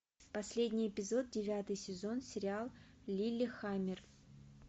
последний эпизод девятый сезон сериал лиллехаммер